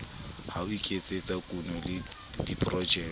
ho iketsetsa kuno le diprojeke